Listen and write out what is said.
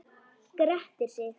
Grettir sig.